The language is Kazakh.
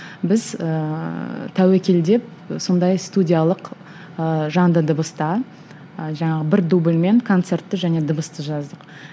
біз ыыы тәуекел деп сондай студиялық ыыы жанды дыбыста ы жаңағы бір дубльмен концертті және дыбысты жаздық